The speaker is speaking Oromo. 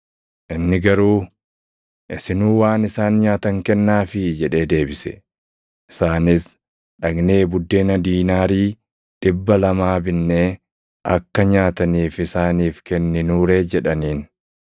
Inni garuu, “Isinuu waan isaan nyaatan kennaafii” jedhee deebise. Isaanis, “Dhaqnee buddeena diinaarii dhibba lamaa binnee akka nyaataniif isaaniif kenninuu ree?” jedhaniin.